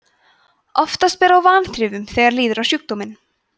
oftast ber á vanþrifum þegar líður á sjúkdóminn